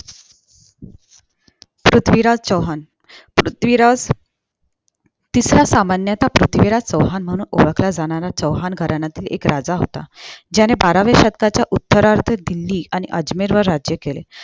पृथ्वीराज चौहान पृथ्वीराज तिसरा सामन्याचा पृथ्वीराज चौहान म्हणून ओळखला जाणारा चौहान घराण्यातील एक राजा होता ज्याने बाराव्या शतकात उत्तरात दिल्ली आणि अजमेर वर राज्य केले